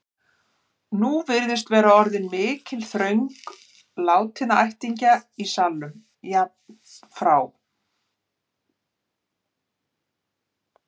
Nú virðist vera orðin mikil þröng látinna ættingja í salnum, jafnt frá